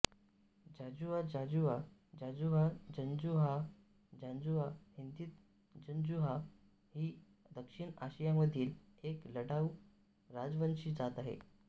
जांजुआ जांजूआ जांजुहा जंजुआह जांजूवा हिंदीत जंजुआ ही दक्षिण आशियामधील एक लढाऊ राजवंशी जात आहे